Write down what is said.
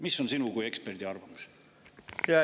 Mis on sinu kui eksperdi arvamus?